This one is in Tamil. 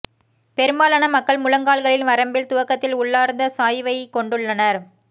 பெரும்பாலான மக்கள் முழங்கால்களின் வரம்பில் துவக்கத்தில் உள்ளார்ந்த சாய்வைக் கொண்டுள்ளனர்